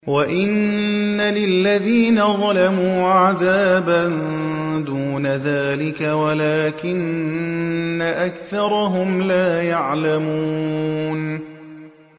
وَإِنَّ لِلَّذِينَ ظَلَمُوا عَذَابًا دُونَ ذَٰلِكَ وَلَٰكِنَّ أَكْثَرَهُمْ لَا يَعْلَمُونَ